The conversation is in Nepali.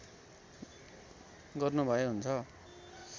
गर्नुभए हुन्छ